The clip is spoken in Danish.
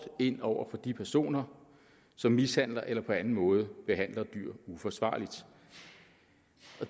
ind over for de personer som mishandler eller på anden måde behandler dyr uforsvarligt